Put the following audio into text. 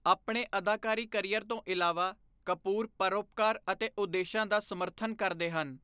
ਆਪਣੇ ਅਦਾਕਾਰੀ ਕਰੀਅਰ ਤੋਂ ਇਲਾਵਾ, ਕਪੂਰ ਪਰਉਪਕਾਰ ਅਤੇ ਉਦੇਸ਼ਾਂ ਦਾ ਸਮਰਥਨ ਕਰਦੇ ਹਨ।